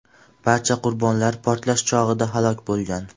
Barcha qurbonlar portlash chog‘ida halok bo‘lgan.